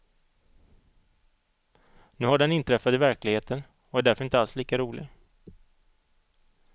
Nu har den inträffat i verkligheten och är därför inte alls lika rolig.